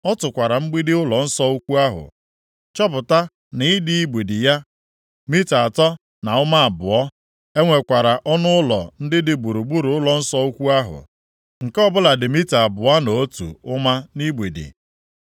Ọ tụkwara mgbidi ụlọnsọ ukwu ahụ chọpụta na ịdị igbidi ya bụ mita atọ na ụma abụọ. E nwekwara ọnụụlọ ndị dị gburugburu ụlọnsọ ukwu ahụ, nke ọbụla dị mita abụọ na otu ụma nʼigbidi.